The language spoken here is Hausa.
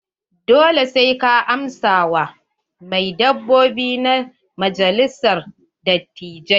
Dole sai ka amsa wa membobi na majalisar dattijai.